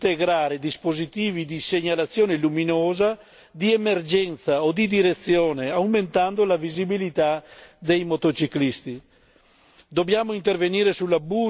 Il casco, ad esempio, potrebbe integrare dispositivi di segnalazione luminosa di emergenza o di direzione aumentando la visibilità dei motociclisti.